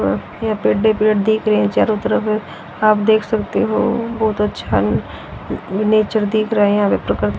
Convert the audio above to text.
अह यहां पेडे पेड़ दिख रहे हैं चारों तरफ आप देख सकते हो बहुत अच्छा नेचर दिख रहा है यहां